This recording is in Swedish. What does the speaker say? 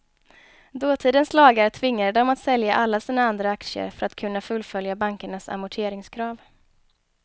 Dåtidens lagar tvingade dem att sälja alla sina andra aktier för att kunna fullfölja bankernas amorteringskrav.